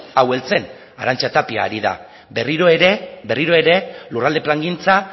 hau heltzen arantza tapia ari da berriro ere lurralde plangintza